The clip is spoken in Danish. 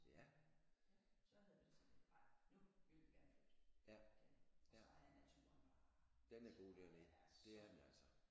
Så ja så havde vi det sådan lidt nej nu vil vi gerne flytte derned og så er naturen bare jeg synes bare den er så flot